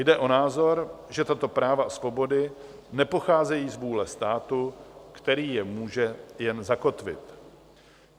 Jde o názor, že tato práva a svobody nepocházejí z vůle státu, který je může jen zakotvit.